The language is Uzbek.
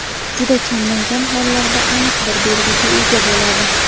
juda kamdan-kam hollarda aniq bir belgiga ega bo‘ladi.